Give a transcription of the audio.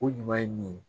O ɲuman ye min ye